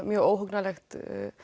mjög óhugnanlegt